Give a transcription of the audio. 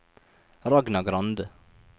Ragna Grande